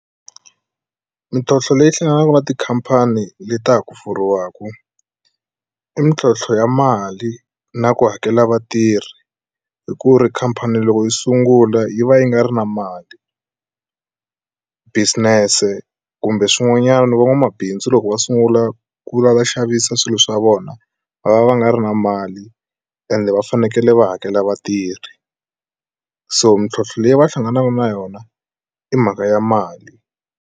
Mintlhotlho leyi hlanganaka na tikhampani le ta ha ku pfuriwaka i mitlhontlho ya mali na ku hakela vatirhi hi ku ri khampani loko yi sungula yi va yi nga ri na mali business kumbe swin'wanyana van'wamabindzu loko va sungula ku la va xavisa swilo swa vona va va va nga ri na mali ende va fanekele va hakela vatirhi so mintlhlonthlo leyi va hlanganaka na yona i mhaka ya mali.